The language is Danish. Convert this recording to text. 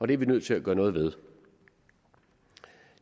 det er vi nødt til at gøre noget ved